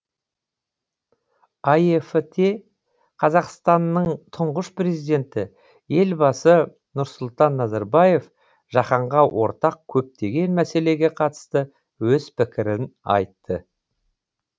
аэф те қазақстанның тұңғыш президенті елбасы нұрсұлтан назарбаев жаһанға ортақ көптеген мәселеге қатысты өз пікірін айтты